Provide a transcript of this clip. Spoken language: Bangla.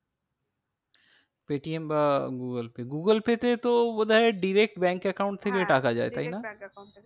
পেটিএম বা গুগল পে, গুগল পে তে তো বোধ হয় direct bank account থেকে টাকা যায় তাই না? হ্যাঁ direct bank account থেকে